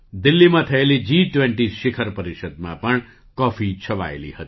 દિલ્લીમાં થયેલી જી ૨૦ શિખર પરિષદમાં પણ કૉફી છવાયેલી હતી